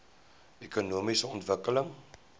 ekonomiese ontwikkeling